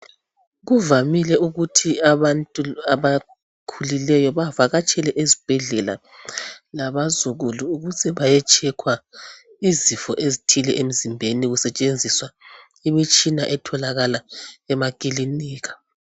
Kuvamile ukuthi abantu abakhulileyo bavakatshele ezibhedlela labazukulu ukuze baye tshekhwa izifo ezithile emzimbeni kusetshenziswa imitshina etholakala emakilinika.